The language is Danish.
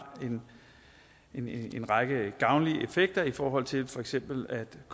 en en række af gavnlige effekter i forhold til for eksempel at